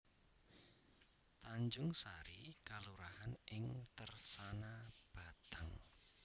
Tanjungsari kelurahan ing Tersana Batang